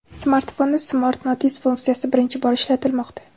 Smartfonda Smart Notice funksiyasi birinchi bor ishlatilmoqda.